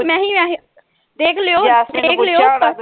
ਦੇਖ ਲਿਓ